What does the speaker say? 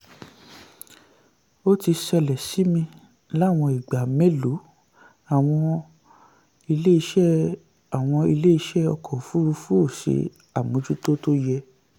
ó ti ṣẹlẹ̀ sí mi láwọn ìgbà mélòó àwọn ilé-iṣẹ́ àwọn ilé-iṣẹ́ ọkọ òfurufú ò ṣe àmójútó tó yẹ.